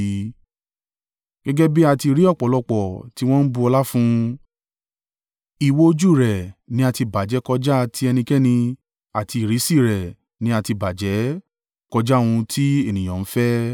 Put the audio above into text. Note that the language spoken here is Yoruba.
Gẹ́gẹ́ bí a ti rí ọ̀pọ̀lọpọ̀ tí wọ́n ń bu ọlá fún un— ìwò ojú rẹ ni a ti bàjẹ́ kọjá ti ẹnikẹ́ni àti ìrísí rẹ̀ ní a ti bàjẹ́ kọjá ohun tí ènìyàn ń fẹ́.